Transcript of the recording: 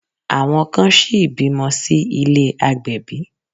Àwọn kan ṣìí bímọ sí ilé àgbẹ̀bí.